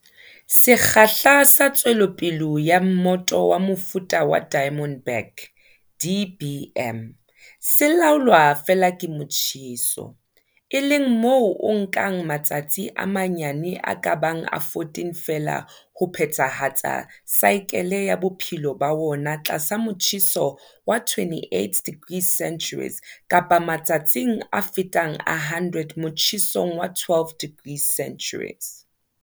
Sekgahla sa tswelopele ya mmoto wa mofuta wa Diamond back, DBM, se laolwa feela ke motjheso, e leng moo o nkang matsatsi a manyane a ka bang a 14 feela ho phethahatsa saekele ya bophelo ba wona tlasa motjheso wa 28 degrees C kapa matsatsing a fetang a 100 motjhesong wa 12 degrees C.